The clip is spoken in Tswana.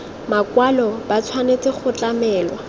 makwalo ba tshwanetse go tlamelwa